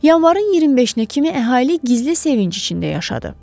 Yanvarın 25-nə kimi əhali gizli sevinc içində yaşadı.